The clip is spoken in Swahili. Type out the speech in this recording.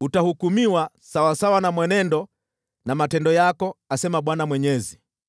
Utahukumiwa sawasawa na mwenendo na matendo yako, asema Bwana Mwenyezi.’ ”